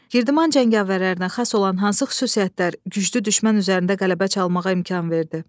Girdman cəngavərlərinə xas olan hansı xüsusiyyətlər güclü düşmən üzərində qələbə çalmağa imkan verdi?